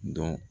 Dɔn